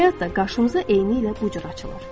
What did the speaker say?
Həyat da qarşımıza eynilə bu cür açılır.